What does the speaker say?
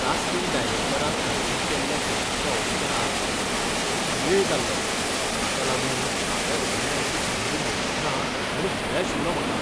Casting डायरॅक्टरान आयोजीत केल्ल्या फिल्माच्या ऑडिशनाक म्हाका खूब वेळ जाल्लो, ताका लागून म्हाका अभिनयाची संद मेळची ना म्हूण भंय आशिल्लो म्हाका.